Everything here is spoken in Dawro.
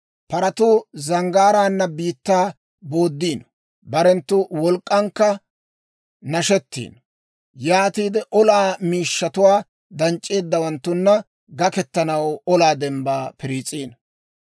Paratuu zanggaaraan biittaa booddiino; barenttu wolk'k'ankka nashettiino; yaatiide olaa miishshatuwaa danc'c'eeddawanttuna gakketanaw olaa dembbaa piriis'iino.